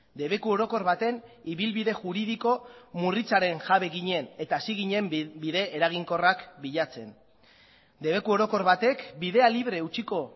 debeku orokor baten ibilbide juridiko murritzaren jabe ginen eta hasi ginen bide eraginkorrak bilatzen debeku orokor batek bidea libre utziko